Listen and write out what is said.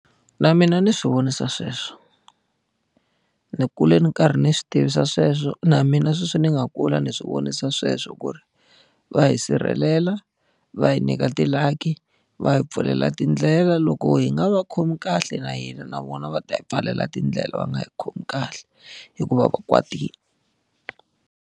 Na mina ni swi vonisa sweswo. Ni kule ni karhi ni swi tivisa sweswo na mina sweswi ni nga kula ni swi vonisa sweswo ku ri, va hi sirhelela, va hi nyika ti-lucky, va hi pfulela tindlela. Loko hi nga va khomi kahle na hina na vona va ta yi pfalela tindlela va nga hi khomi kahle, hi ku va va kwatile.